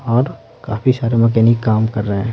और काफी सारे मैकेनिक काम कर रहे हैं।